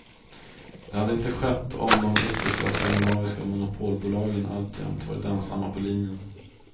Det hade inte skett om de brittiska och skandinaviska monopolbolagen alltjämt varit ensamma på linjen.